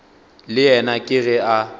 le yena ke ge a